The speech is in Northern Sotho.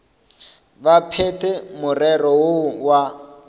ba phethe morero woo wa